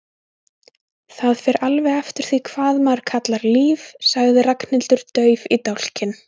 Það fer alveg eftir því hvað maður kallar líf sagði Ragnhildur dauf í dálkinn.